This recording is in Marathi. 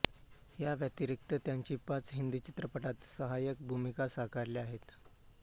याव्यतिरिक्त त्यांनी पाच हिंदी चित्रपटांत सहाय्यक भूमिका साकारल्या आहेत